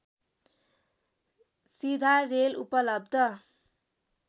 सीधा रेल उपलब्ध